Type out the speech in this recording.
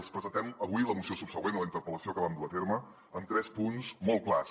els presentem avui la moció subsegüent a la interpel·lació que vam dur a terme amb tres punts molt clars